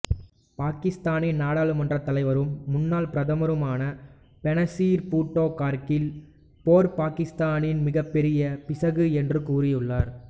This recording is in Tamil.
பாகிஸ்தானின் நாடுளுமன்றத் தலைவரும் முன்னாள் பிரதமருமான பெனசீர் பூட்டோ கார்கில் போர் பாகிஸ்தானின் மிகப்பெரிய பிசகு என்று கூறியுள்ளார்